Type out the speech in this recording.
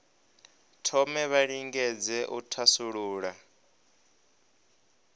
thome vha lingedze u thasulula